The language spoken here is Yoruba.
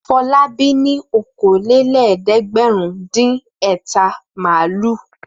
Fọlábí ní okòólélẹ́ẹ̀dẹ́gbẹ̀rúndínẹ̀ta màlúù.